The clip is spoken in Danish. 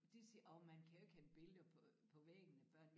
De siger åh man kan jo ikke have billeder på på væggen af børn